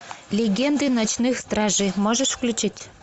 легенды ночных стражей можешь включить